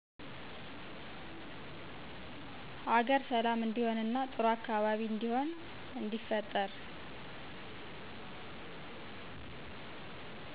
ሀገር ሠላም እንዲሆን እና ጥሩ አካባቢ እንዲሆን እንዲፈጠር